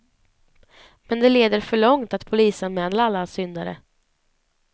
Men det leder för långt att polisanmäla alla syndare.